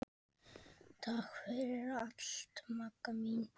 Takk fyrir allt Magga mín.